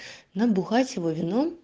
набухать его вином